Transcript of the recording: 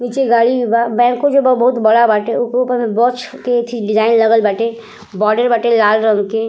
नीचे गाड़ी बा। बैंको के जगह बहुत बड़ा बाटे। ओकरो में गच्छ के डिजाइन लागल बाटे। बॉडी बाटे लाल रंग के।